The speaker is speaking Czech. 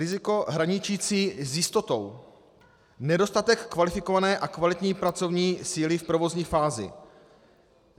Riziko hraničící s jistotou - nedostatek kvalifikované a kvalitní pracovní síly v provozní fázi.